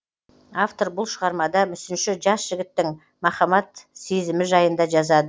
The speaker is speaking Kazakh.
автор бұл шығармада мүсінші жас жігіттің махаббат сезімі жайында жазады